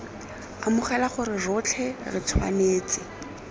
amogela gore rotlhe re tshwanetse